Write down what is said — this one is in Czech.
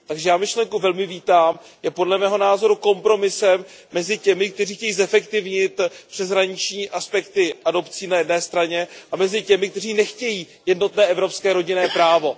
Takže já myšlenku velmi vítám, je podle mého názoru kompromisem mezi těmi, kteří chtějí zefektivnit přeshraniční aspekty adopcí na jedné straně, a těmi, kteří nechtějí jednotné evropské rodinné právo.